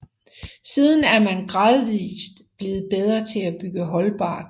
Siden er man gradvist blevet bedre til at bygge holdbart